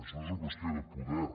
no és qüestió de poder